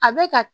A bɛ ka